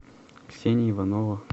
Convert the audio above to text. ксения иванова